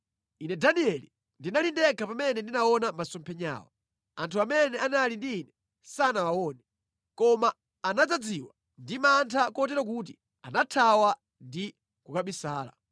Ine Danieli ndinali ndekha pamene ndinaona masomphenyawa; anthu amene anali ndi ine sanawaone, koma anadzazidwa ndi mantha kotero kuti anathawa ndi kukabisala.